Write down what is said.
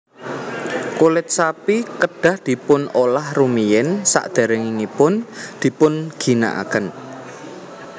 Kulit sapi kedah dipun olah rumiyin sadèrèngipun dipun ginakaken